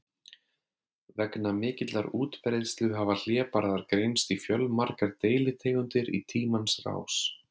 Vegna mikillar útbreiðslu hafa hlébarðar greinst í fjölmargar deilitegundir í tímans rás.